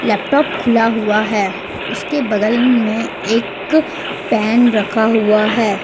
Laptop खुला हुआ है उसके बगल में एक पेन रखा हुआ है।